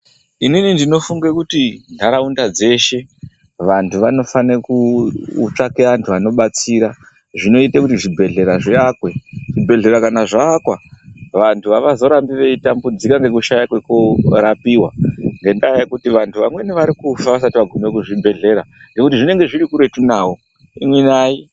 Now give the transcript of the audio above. Inini ndinofunge kuti nharaunda dzeshe vantu vanofane kutsvake antu anobatsira. Zvinoite kuti zvibhedhlera zviakwe zvibhedhlera kana zvaakwa vantu havazorambi veitambudzika ngekushaya kwekorapiva. Ngendaa yekuti vantu vamweni varikufa vasati vagume muzvibhedhlera ngekuti zvinenge zviri kuretu navo imi nai.